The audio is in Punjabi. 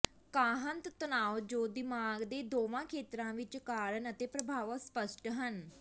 ਕਾਹੰਤ ਤਣਾਅ ਜੋ ਦਿਮਾਗ ਦੇ ਦੋਵਾਂ ਖੇਤਰਾਂ ਵਿੱਚ ਕਾਰਨ ਅਤੇ ਪ੍ਰਭਾਵ ਅਸਪਸ਼ਟ ਹਨ